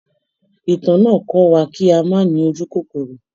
Ìtàn náà kọ́ wa kí a má ní ojúkòkòrò.